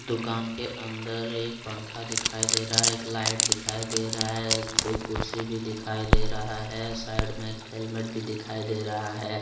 दुकान के अंदर एक पंखा दिखाई दे रहा है एक लाइट दिखाई दे रहा है दो कुर्सी भी दिखाई दे रहा है साइड में एक हेलमेट भी दिखाई दे रहा है।